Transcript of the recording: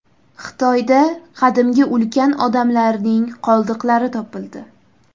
Xitoyda qadimgi ulkan odamlarning qoldiqlari topildi.